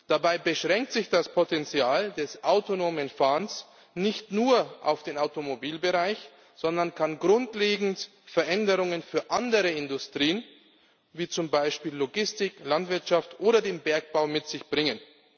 Dabei beschränkt sich das Potenzial des autonomen Fahrens nicht nur auf den Automobilbereich, sondern es kann grundlegende Veränderungen für andere Industrien wie zum Beispiel Logistik, Landwirtschaft oder den Bergbau mit sich bringen.